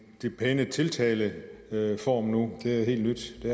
pæne tiltaleform nu det er helt nyt det